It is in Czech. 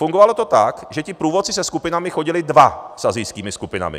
Fungovalo to tak, že ti průvodci se skupinami chodili dva, s asijskými skupinami.